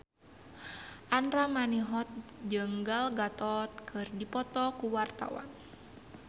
Andra Manihot jeung Gal Gadot keur dipoto ku wartawan